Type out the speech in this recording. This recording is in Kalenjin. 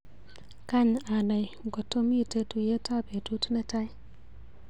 Kany anai ngotomiite tuiyetap betut netaai.